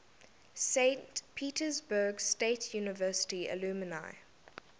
saint petersburg state university alumni